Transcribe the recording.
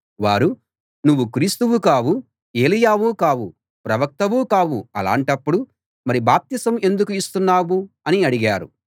వారు నువ్వు క్రీస్తువు కావు ఏలీయావు కావు ప్రవక్తవూ కావు అలాంటప్పుడు మరి బాప్తిసం ఎందుకు ఇస్తున్నావు అని అడిగారు